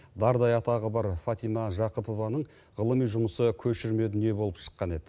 дардай атағы бар фатима жақыпованың ғылыми жұмысы көшірме дүние болып шыққан еді